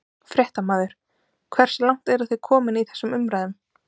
Fréttamaður: Hversu langt eru þið komin í þessum umræðum?